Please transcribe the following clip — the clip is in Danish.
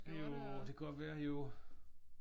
Jo det kan godt være jo